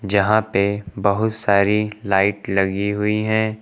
जहां पे बहुत सारी लाइट लगी हुई हैं।